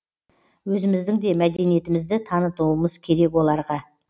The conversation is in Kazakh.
өзіміздің де мәдениетімізді танытуымыз керек оларға